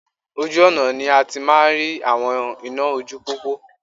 Ojú ọ̀nà ni a ti máa ń rí àwọn iná ojú pópó